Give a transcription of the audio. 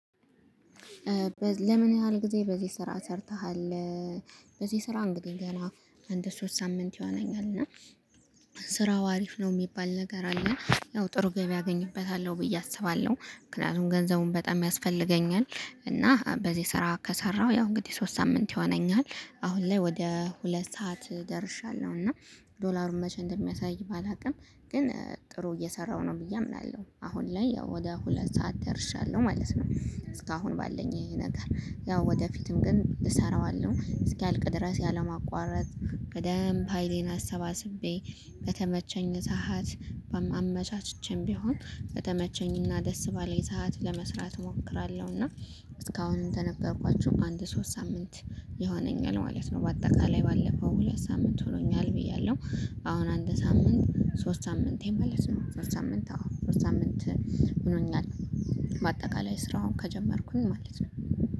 ለምን ያህል ጊዜ በዚህ ስራ ሰርተሃል? በዚህ ስራ እንግዲህ ገና እንድ ሶስት ሳምንት ይሆነኛል። እና ስራው አሪፍ ነው የሚባል ነገር አለ። ያው ጥሩ ገቢ አገኝበታለሁ ብዬ አስባለሁ። ምክንያቱም ገንዘቡን በጣም ያስፈልገኛል እና በዚህ ስራ ከሰራሁ ያው እንግዲህ ሶስት ሳምንት ይሆነኛል። አሁን ላይ ወደ ሁለት ሰዓት ደርሻለሁ። እና ዶላሩን መቼ እንደሚያሳይ ባላውቅም ግን ጥሩ እየሰራሁ ነው ብዬ አምናለሁ። አሁን ላይ ያው ወደ ሁለት ሰዓት ደርሻለሁ ማለት ነው። እስካሁን ባለኝ ይሄ ነገር ያው ወደፊትም ግን እሰራዋለሁ። እስኪያልቅ ድረስ ያለም አቋረጥ ቀደም ሀይሌን አሰባስቤ። በተመቸኝ ሰዓት አመቻችቼም ቢሆን በተመቸኝ እና ደስ ባለኝ ሰዓት ለመስራት እሞክራለሁ። እና እስካሁን እንደነበርኳችሁ አንድ ሶስት ሳምንት ይሆነኛል ማለት ነው። በአጠቃላይ ባለፈው ሁለት ሳምንት ሆኖኛል ብያለሁ። አሁን አንድ ሳምንት ሶስት ሳምንት ማለት ነው። ሶስት ሳምንት ሶስት ሳምንት ሆኖኛል። በአጠቃላይ ስራውን ከጀመርኩኝ ማለት ነው።